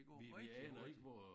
Det går rigtig hurtigt